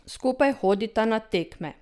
Skupaj hodita na tekme.